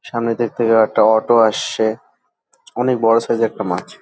সামনে দেখতে পাই একটা অটো আসছে। অনেক বড় সাইজ - এর একটা মাছ।